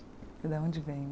E de onde vem